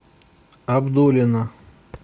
абдулино